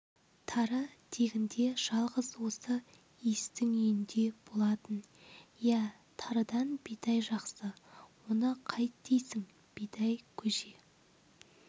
тары тегінде жалғыз осы иістің үйінде болатын иә тарыдан бидай жақсы оны қайт дейсің бидай көже